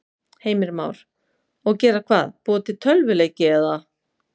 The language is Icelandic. Heimir Már: Og gera hvað, búa til tölvuleiki eða?